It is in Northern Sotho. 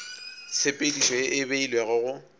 tshepedišo ye e beilwego go